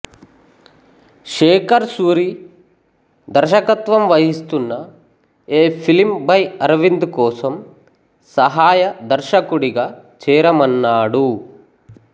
శేఖర్ సూరి దర్శకత్వం వహిస్తున్న a film by Aravind కోసం సహాయ దర్శకుడిగా చేరమన్నాడు